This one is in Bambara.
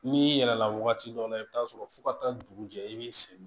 N'i yɛlɛla wagati dɔ la i bi taa sɔrɔ fo ka taa dugu jɛ i b'i sen